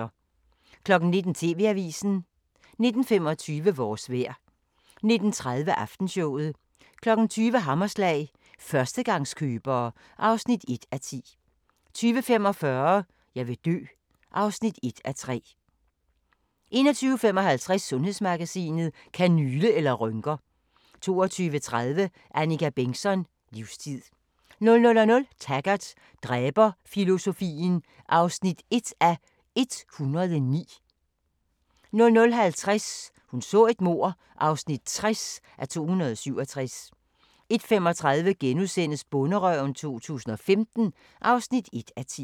19:00: TV-avisen 19:25: Vores vejr 19:30: Aftenshowet 20:00: Hammerslag – førstegangskøbere (1:10) 20:45: Jeg vil dø (1:3) 21:55: Sundhedsmagasinet: Kanyle eller rynker? 22:30: Annika Bengtzon: Livstid 00:00: Taggart: Dræberfilosofien (1:109) 00:50: Hun så et mord (60:267) 01:35: Bonderøven 2015 (1:10)*